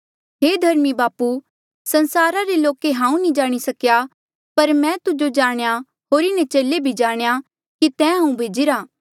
हे धर्मी बापू संसार रे लोके हांऊँ नी जाणी सकेया पर मैं तू जाणेया होर इन्हें चेले भी जाणेया कि तैं ईं हांऊँ भेजिरा